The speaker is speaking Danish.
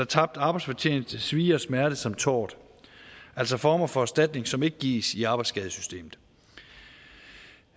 tabt arbejdsfortjeneste svie og smerte samt tort altså former for erstatning som ikke gives i arbejdsskadesystemet